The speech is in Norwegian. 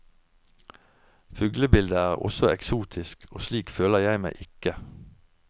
Fuglebildet er også eksotisk, og slik føler jeg meg ikke!